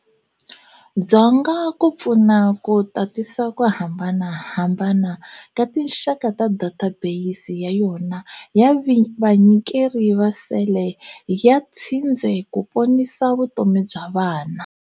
Dzonga ku pfuna ku tatisa ku hambanahambana ka tinxaka ta data beyisi ya yona ya vanyikeri va sele ya tshindze ku ponisa vutomi bya vana.